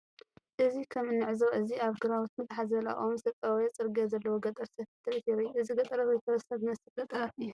እዚ ከም እንዕዞቦ እዚ ኣብ ግራውትን ፋሕ ዝበለ ኣእዋምን እተጠዋወየ ፅርግያ ዘለዎ ገጠር ሰፊሕ ትርኢት የርኢ። እዚ ገጠራት ወይ ከበሳታት ዝመስል ገጠራት እዩ።